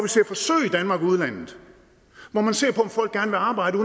danmark og i udlandet hvor man ser på om folk gerne vil arbejde